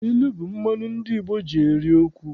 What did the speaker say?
Ilu bụ mmanụ ndị Igbo ji eri okwu.